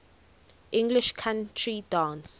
english country dance